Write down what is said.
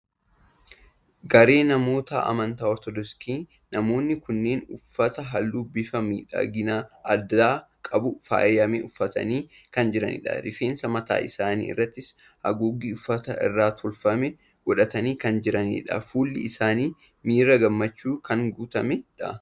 Garee namoota amantaa Ortodoksii. Namoonni kunneen uffata halluu bifa miidhagina addaa qabuun faayame uffatanii kan jiranidha. Rifeensa mataa isaanii irrattis haguuggii uffata irraa tolfame godhatanii kan jiranidha. Fuulli isaanii miira gammachuun kan guutamedha.